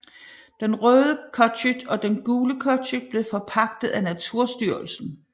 Den Røde Cottage og Den Gule Cottage blev forpagtet af Naturstyrelsen